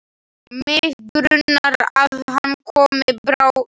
Mig grunar að hann komi bráðum.